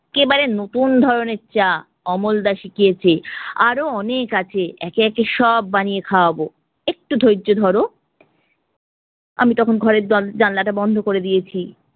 কেবারে নতুন ধরণের চা, অমলদা শিখিয়েছে, আরও অনেক আছে, একে একে সব বানিয়ে খাওয়াবো, একটু ধৈর্য ধরো। আমি তখন ঘরের জন~ জানলাটা বন্ধ করে দিয়েছি